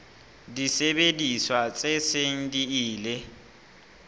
disebediswa tse seng di ile